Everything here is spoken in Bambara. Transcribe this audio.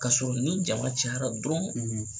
Kasɔrɔ ni jama cayara dɔrɔn